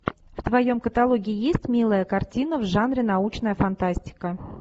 в твоем каталоге есть милая картина в жанре научная фантастика